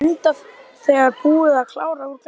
Enda þegar búin að klára úr glasinu.